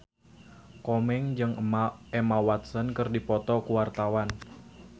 Komeng jeung Emma Watson keur dipoto ku wartawan